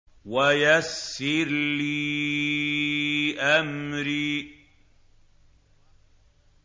وَيَسِّرْ لِي أَمْرِي